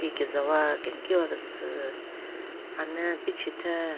Ki kezawa kenkiwa kese ane pichetheng.